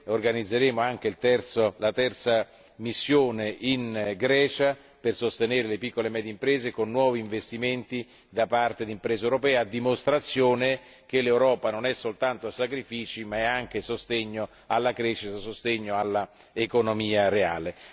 Organizzeremo inoltre la terza missione in Grecia per sostenere le piccole e medie imprese, con nuovi investimenti da parte di imprese europee, a dimostrazione che l'Europa non richiede soltanto sacrifici, ma dà anche sostegno alla crescita e all'economia reale.